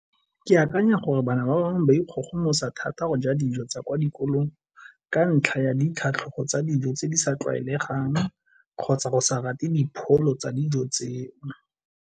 Ke akanya gore bana ba bangwe ba ikgogomosa thata go ja dijo tsa kwa dikolong, ka ntlha ya ditlhogo tsa dijo tse di sa tlwaelegang kgotsa go sa rate dipholo tsa dijo tseo.